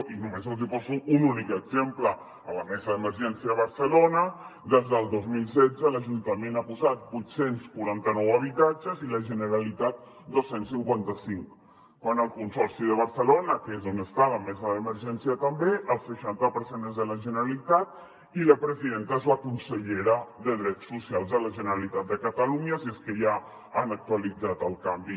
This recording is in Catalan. i només els hi poso un únic exemple a la mesa d’emergència de barcelona des del dos mil setze l’ajuntament hi ha posat vuit cents i quaranta nou habitatges i la generalitat dos cents i cinquanta cinc quan al consorci de barcelona que és on està la mesa d’emergència també el seixanta per cent és de la generalitat i la presidenta és la consellera de drets socials de la generalitat de catalunya si és que ja han actualitzat el canvi